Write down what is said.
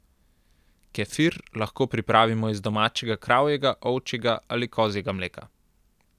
Kefir lahko pripravimo iz domačega kravjega, ovčjega ali kozjega mleka.